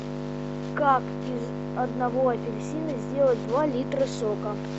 как из одного апельсина сделать два литра сока